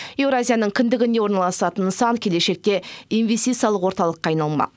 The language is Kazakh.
еуразияның кіндігінде орналасатын нысан келешекте инвестициялық орталыққа айналмақ